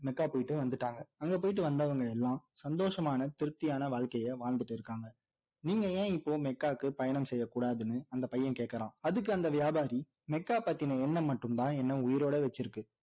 Mecca போயிட்டு வந்துட்டாங்க அங்க போயிட்டு வந்தவங்க எல்லாம் சந்தோஷமான திருப்தியான வாழ்கைய வாழ்ந்துட்டு இருக்காங்க நீங்க ஏன் இப்போ மெக்காக்கு பயணம் செய்ய கூடாதுன்னு அந்த பையன் கேட்கிறான் அதுக்கு அந்த வியாபாரி மெக்கா பத்தின எண்ணம் மட்டும் தான் என்ன உயிரோட வச்சிருக்கு